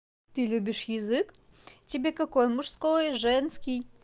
ты любишь язык тебе какой мужской женский